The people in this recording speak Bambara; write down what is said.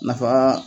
Nafa